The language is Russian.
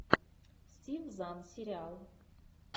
стив зан сериал